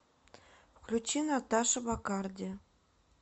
включи наташа баккарди